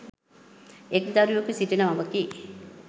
එක්‌ දරුවකු සිටින මවකි.